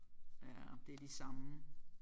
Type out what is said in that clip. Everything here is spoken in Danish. Ja det er de samme